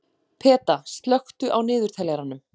Peta, slökktu á niðurteljaranum.